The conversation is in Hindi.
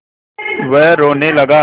वह रोने लगा